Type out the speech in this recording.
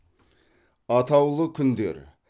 атаулы күндер